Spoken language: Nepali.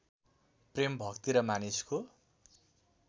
प्रेम भक्ति र मानिसको